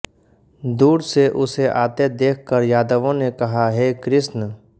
दूर से उसे आते देख कर यादवों ने कहा हे कृष्ण